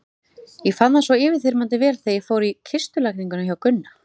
Ég fann það svo yfirþyrmandi vel þegar ég fór í kistulagninguna hjá Gunna.